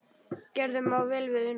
Gerður má vel við una.